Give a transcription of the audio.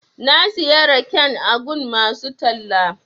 Na siya raken a gun masu talla.